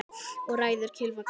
Eða ræður kylfa kasti?